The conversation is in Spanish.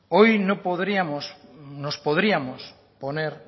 hoy nos podríamos poner